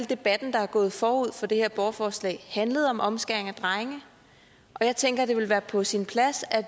debat der er gået forud for det her borgerforslag handlet om omskæring af drenge og jeg tænker at det vil være på sin plads at